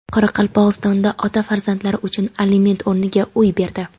Qoraqalpog‘istonda ota farzandlari uchun aliment o‘rniga uy berdi.